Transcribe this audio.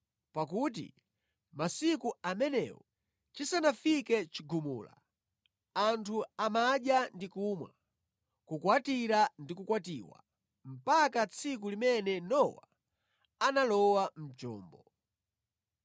Pakuti masiku amenewo chisanafike chigumula, anthu amadya ndi kumwa, kukwatira ndi kukwatiwa, mpaka tsiku limene Nowa analowa mʼchombo;